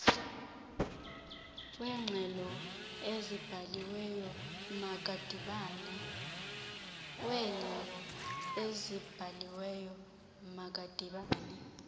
weengxelo ezibhaliweyo makadibane